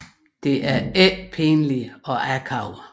Det er ikke pinligt og akavet